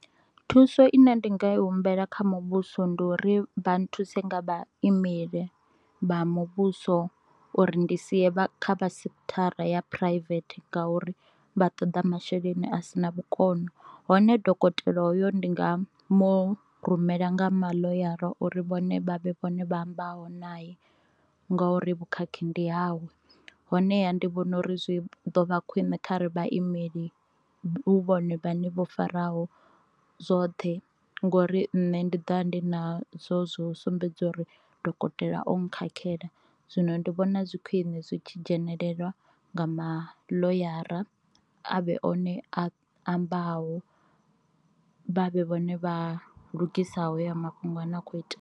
Thuso ine ndi nga i humbela kha vha muvhuso ndi uri vha nthuse nga vhaimeli vha muvhuso uri ndi si ye kha vha sekhithara ya private ngauri vha ṱoḓa masheleni a sina vhukono, hone dokotela hoyo ndi nga mu rumela nga maḽoyara uri vhone vha vhe vhone vha ambaho naye ngori vhukhakhi ndi hawe. Honeha ndi vhona uri zwi ḓo vha khwine kha re vhaimeli hu vhone vhane vho faraho zwoṱhe ngori nṋe ndi ḓovha ndi nazwo zwo sumbedza uri dokotela o nkhakhela, zwino ndi vhona zwi khwine zwi tshi dzhenelelwa nga ma ḽoyara a vhe one a ambaho vha vhe vhone vha lugisaho ha ya mafhungo ane a kho itea.